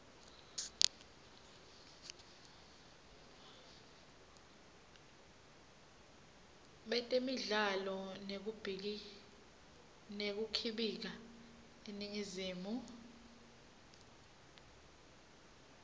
betemidlalo nekukhibika eningizimu